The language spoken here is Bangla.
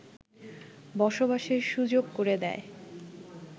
বসবাসের সুযোগ করে দেয়